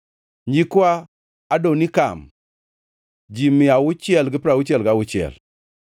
nyikwa Adonikam, ji mia auchiel gi piero auchiel gauchiel (666),